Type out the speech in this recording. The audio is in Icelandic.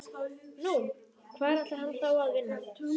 Nú, hvar ætlar hann þá að vinna?